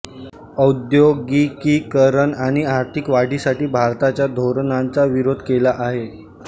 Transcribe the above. औद्योगिकीकरण आणि आर्थिक वाढीसाठी भारताच्या धोरणाचा विरोध केला आहे